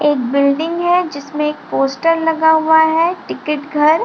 एक बिल्डिंग है जिसमे एक पोस्टर लगा हुआ है टिकट घर --